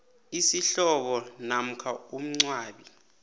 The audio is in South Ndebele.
isihlobo namkha umngcwabi